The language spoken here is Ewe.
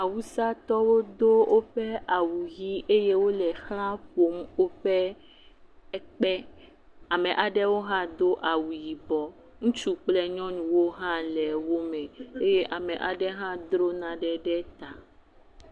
Awusatɔwo do woɔe awu ʋi eye wole exla ƒom woƒe ekpe, ameha ɖewo hã do awu yibɔ, ŋutsu kple nyɔnuwo hã le wo me eye ame aɖe hã dro nane ɖe…………